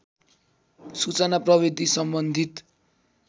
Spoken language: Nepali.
सूचना प्रविधि सम्बन्धित